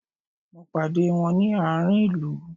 Mo pàdé wón ni àárín ilu